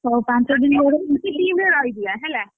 ହଉ ପାଞ୍ଚଦିନ ଆମେ ଗୋଟେ team ରେ ରହିଯିବା ହେଲା?